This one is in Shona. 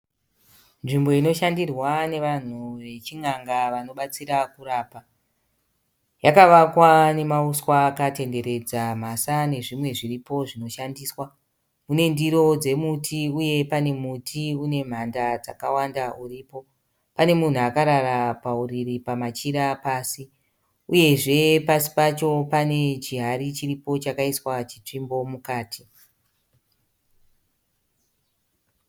Nzvimbo inoshandirwa nevanhu vechin'nga vanobatsira kurapa. Yakavakwa nemauswa akatenderedza mhasa nezvimwe zviripo zvinoshandiswa. Mune ndiro dzemuti uye pane muti unemhanda dzakawanda uripo. Pane munhu akarara pauriri pamachira pasi, uyezve pasi pacho pane chihari chiripo chakaiswa chitsvimbo mukati.